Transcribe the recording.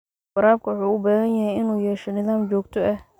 Waraabka wuxuu u baahan yahay inuu yeesho nidaam joogto ah.